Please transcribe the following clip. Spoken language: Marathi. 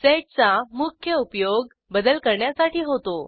सेड चा मुख्य उपयोग बदल करण्यासाठी होतो